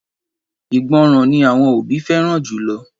Ìgbọràn ni àwọn òbí fẹ́ràn jùlọ